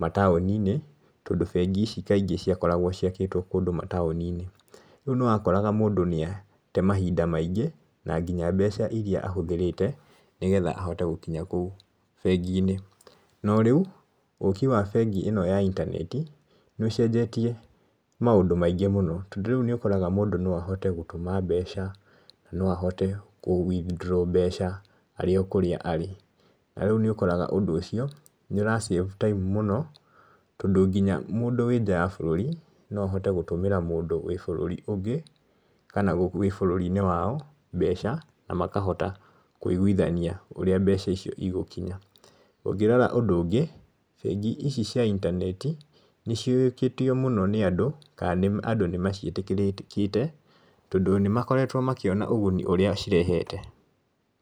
mataũni-inĩ , tondũ bengi ici kaingĩ ciakoragwo ciakĩtwo kũndũ mataũni-inĩ, rĩu nĩ wakoraga mũndũ nĩ atee mahinda maingĩ , na nginya mbeca iria ahũthĩrĩte, nĩgetha ahote gũkinya kũu bengi-inĩ, no rĩu ũki wa mbegi ĩno ya intaneti, nĩ ũcenjetie maũndũ maingĩ mũno , tondũ rĩu nĩ ũkoraga mũndũ no ahote gũtũma mbeca , no ahote kũ withdraw mbeca arĩ o kũrĩa arĩ, ta rĩu nĩ ũkoraga ũndũ ũcio nĩ ũra save time mũno, tondũ nginya mũndũ wĩ nja ya bũrũri no ahote gũtũmĩra mũndũ wĩ bũrũri ũngĩ , kana wĩ bũrũri-inĩ wao mbeca na makahota kũigwithania ũrĩa mbeca ici igũkinya , ũngĩrora ũndũ ũngĩ, bengi ici cia intaneti nĩ ciũĩkĩtio mũno nĩ andũ, kana andũ nĩmaciĩtĩkĩrĩte tondũ nĩmakoretwo makĩona ũguni ũrĩa cirehete.